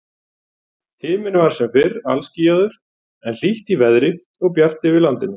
Himinn var sem fyrr alskýjaður, en hlýtt í veðri og bjart yfir landinu.